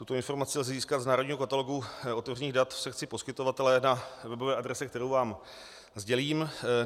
Tuto informaci lze získat z národního katalogu otevřených dat v sekci poskytovatelé na webové adrese, kterou vám sdělím.